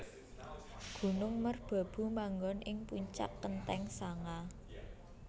Gunung merbabu manggon ing puncak kenthéng sanga